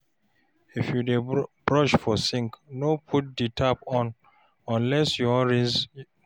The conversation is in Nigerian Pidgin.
if yu dey brush for sink, no put di tap on unless you wan rinse mouth